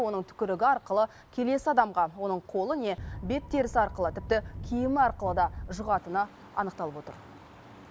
оның түкірігі арқылы келесі адамға оның қолы не бет терісі арқылы тіпті киімі арқылы да жұғатыны анықталып отыр